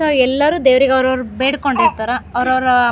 so ಎಲ್ಲರು ದೇವ್ರಿಗೆ ಅವ್ರವ್ರು ಬೇಡಕೊಂಡ್ ಇರ್ತ್ತರ್ ಅವ್ರವ್ರ --